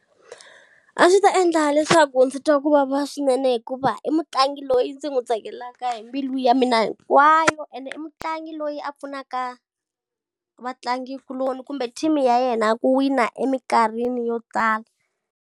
A swi ta endla leswaku ndzi twa ku vava swinene hikuva i mutlangi loyi ndzi n'wi tsakelaka hi mbilu ya mina hinkwayo ende i mutlangi loyi a pfunaka, vatlangikuloni kumbe team-i ya yena ku wina eminkarhini yo tala.